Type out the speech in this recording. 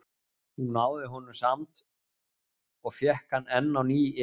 Hún náði honum samt og fékk hann enn á ný yfir sig.